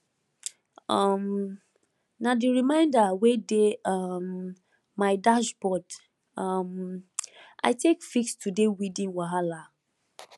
um na the reminder wey dey um my dashboard um i take fix today weeding wahala